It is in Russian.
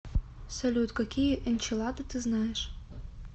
салют какие энчилада ты знаешь